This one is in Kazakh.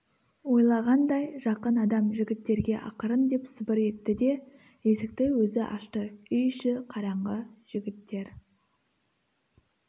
ойлағандай жақын адам жігіттерге ақырын деп сыбыр етті де есікті өзі ашты үй іші қараңғы жігіттер